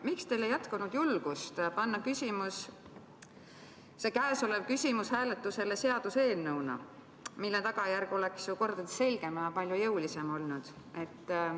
Miks teil ei jätkunud julgust panna see küsimus hääletusele seaduseelnõuna, mille tagajärg oleks mitu korda selgem ja palju jõulisem olnud?